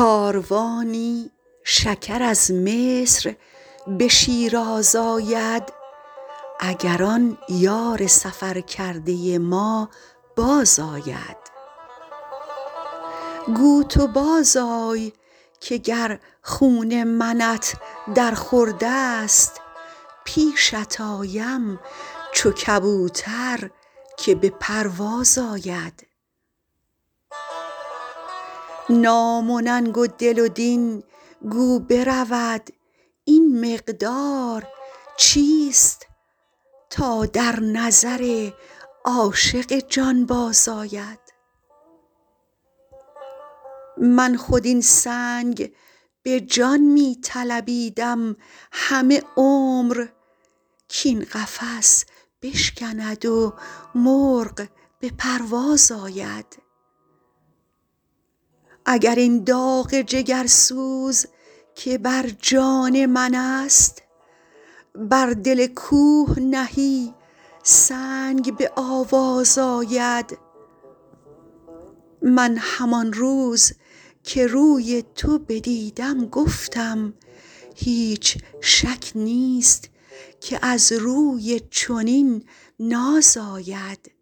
کاروانی شکر از مصر به شیراز آید اگر آن یار سفر کرده ما بازآید گو تو بازآی که گر خون منت در خورد است پیشت آیم چو کبوتر که به پرواز آید نام و ننگ و دل و دین گو برود این مقدار چیست تا در نظر عاشق جانباز آید من خود این سنگ به جان می طلبیدم همه عمر کاین قفس بشکند و مرغ به پرواز آید اگر این داغ جگرسوز که بر جان من است بر دل کوه نهی سنگ به آواز آید من همان روز که روی تو بدیدم گفتم هیچ شک نیست که از روی چنین ناز آید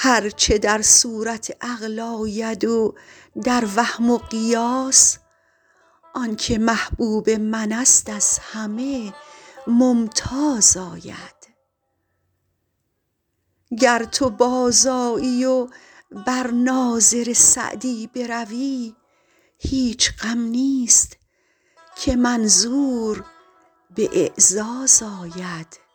هر چه در صورت عقل آید و در وهم و قیاس آن که محبوب من است از همه ممتاز آید گر تو بازآیی و بر ناظر سعدی بروی هیچ غم نیست که منظور به اعزاز آید